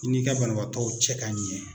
I n'i ka banabaatɔw cɛ ka ɲɛ.